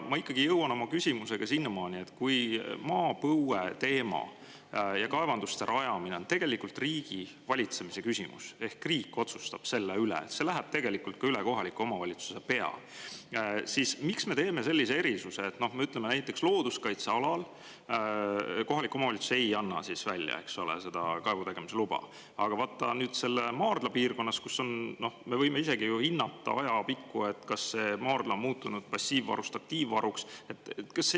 Ma jõuan oma küsimusega sinnamaani: kui maapõue teema ja kaevanduste rajamine on tegelikult riigivalitsemise küsimus ehk riik otsustab selle üle – see läheb tegelikult ka üle kohaliku omavalitsuse pea –, siis miks me teeme sellise erisuse, et näiteks looduskaitsealal kohalik omavalitsus ei anna välja kaevutegemise luba, aga maardla piirkonnas, kus me võime isegi ajapikku hinnata, kas see maardla on muutunud passiivvarust aktiivvaruks,?